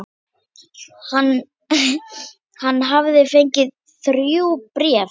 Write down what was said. Hann hafði fengið þrjú bréf.